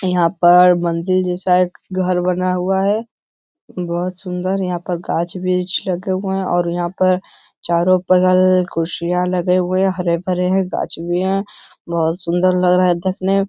यहाँ पर मंदिर जैसा एक घर बना हुआ है यह बहुत सुंदर है यहाँ पे गाछ वृछ लगे हुए हैं और यहाँ पर चारों पगल कुर्सियाँ लगे हुए हैं हरे-भरे है गाछ भी है बहुत सुंदर लग रहा है देखने --